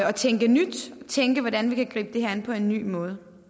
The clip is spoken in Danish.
at tænke nyt at tænke hvordan vi kan gribe det her an på en ny måde